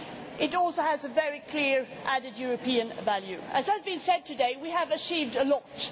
It also has a very clear added European value. As has been said today, we have achieved a lot.